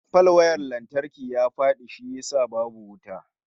Falwayar lantarki ya fadi shi yasa babu wuta